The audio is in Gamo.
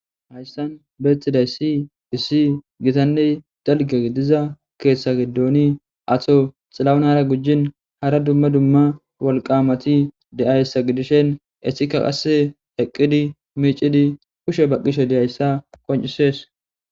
Hayssan beexxiday si issi gitanne dalge diza keethtsha gidooni ato xilawunara gujjin hara dumma dumma wolqamati de7ayssa gidishen esika qasse eqqidi miicidi kushe baqqishe deyayssa qoncisees.